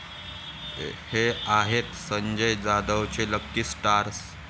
हे' आहेत संजय जाधवचे 'लकी' स्टार्स